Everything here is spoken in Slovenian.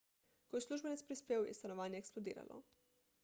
ko je uslužbenec prispel je stanovanje eksplodiralo